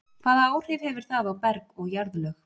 Hvaða áhrif hefur það á berg og jarðlög?